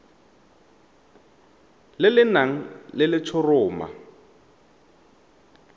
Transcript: le le nang le letshoroma